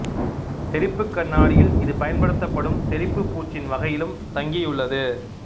தெறிப்புக் கண்ணாடியில் இது பயன்படுத்தப்படும் தெறிப்புப் பூச்சின் வகையிலும் தங்கியுள்ளது